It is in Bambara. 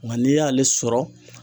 Nka n'i y'ale sɔrɔ